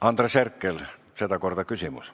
Andres Herkel, sedakorda küsimus.